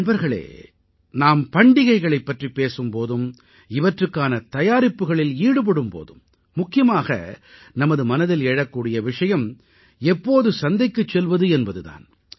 நண்பர்களே நாம் பண்டிகைகளைப் பற்றிப் பேசும் போதும் இவற்றுக்கான தயாரிப்புகளில் ஈடுபடும் போதும் முக்கியமாக நமது மனதில் எழக்கூடிய விஷயம் எப்போது சந்தைக்குச் செல்வது என்பது தான்